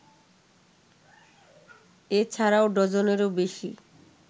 এ ছাড়াও ডজনেরও বেশি